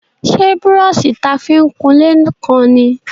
Ṣé brọ́ṣì ta fi ń kunlé kán ni?